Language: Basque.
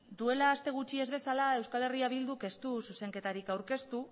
duela aste gutxi ez bezala eh bilduk ez du zuzenketarik aurkeztu